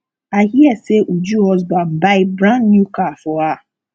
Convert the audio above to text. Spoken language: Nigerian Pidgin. i hear say uju husband buy brand new car for her